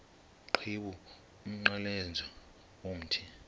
qhiwu umnqamlezo womthi